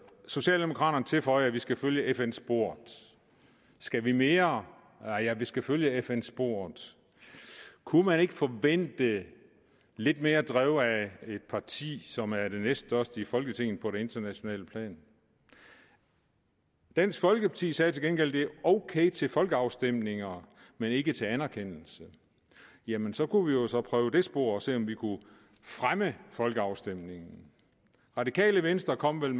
socialdemokraterne tilføjer at vi skal følge fn sporet skal vi mere ja vi skal følge fn sporet kunne man ikke forvente lidt mere drev af et parti som er det næststørste i folketinget på det internationale plan dansk folkeparti sagde til gengæld ok til folkeafstemninger men ikke til anerkendelse jamen så kunne vi jo prøve det spor og se om vi kunne fremme folkeafstemningen radikale venstre kom med